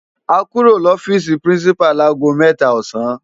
Á kúró no òfisi pirinsipá lagó mètá òsán